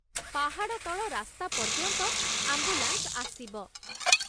ପାହାଡ଼ ତଳ ରାସ୍ତା ପର୍ଯ୍ୟନ୍ତ ଆମ୍ବୁଲାନ୍ସ ଆସିବ।